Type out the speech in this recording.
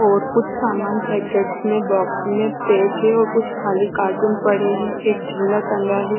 और कुछ सामान पैकेट्स में बॉक्स में पैक है और कुछ खाली कार्टून पड़े हैं एक झोला टंगा है।